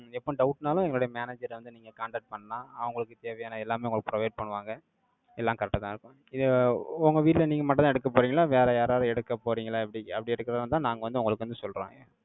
எப்ப doubt னாலும், எங்களுடைய manager அ வந்து, நீங்க contact பண்ணலாம். அவங்களுக்கு தேவையான எல்லாமே, உங்களுக்கு provide பண்ணுவாங்க. எல்லாம் correct ஆதான் இருக்கும். இதை, உங்க வீட்டுல நீங்க மட்டும்தான் எடுக்கப் போறீங்களா? வேற யாராவது எடுக்கப் போறீங்களா? எப்படி அப்படி எடுக்கிறதா இருந்தா, நாங்க வந்து, உங்களுக்கு வந்து சொல்றோம்.